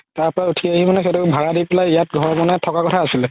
তাৰ পাই উথি আহি মানে সেহতৰ ভাৰা দি পেলাই ইয়াত ঘৰ বনাই থকাৰ কথা আছিলে